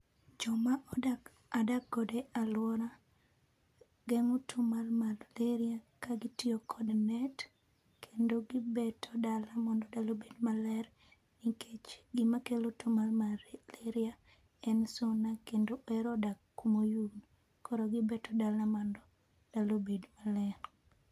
Joma adokgodo e alwora geng'o tuo mar maleria ka gitiyo kod net, kendo gibeto dala mondo dala obed maler nikech gimakelo tuo mar maleria en suna kendo ohero dak kumoyugno, koro gibeto dala mondo dala obed maler.